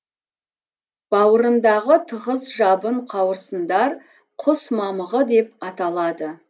бауырындағы тығыз жабын қауырсындар құс мамығы деп аталады